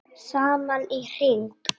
Saman í hring